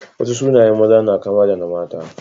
Wasu sunayen maza na kama da na mata.